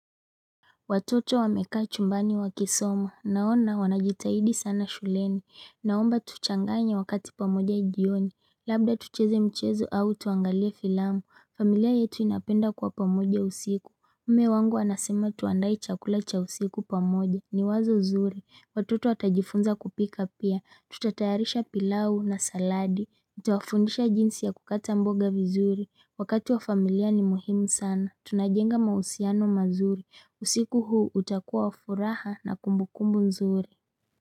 Watoto wamekaa chumbani wakisoma. Naona wanajitahidi sana shuleni. Naomba tuchanganye wakati pamoja jioni. Labda tucheze mchezo au tuangalie filamu. Familia yetu inapenda kwa pamoja usiku. Mme wangu anasema tuandae chakula cha usiku pamoja. Ni wazo zuri. Watoto watajifunza kupika pia. Tutatayarisha pilau na saladi. Nitawafundisha jinsi ya kukata mboga vizuri. Wakati wa familia ni muhimu sana. Tunajenga mausiano mazuri. Usiku huu utakuwa furaha na kumbukumbu nzuri.